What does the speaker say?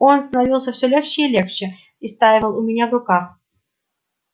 он становился всё легче и легче и стаивал у меня в руках